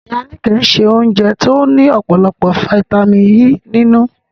Ìyá Níkẹ̀ se oúnjẹ tó ní ọ̀pọ̀lọpọ̀ fítámìnì E nínú